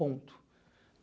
Ponto.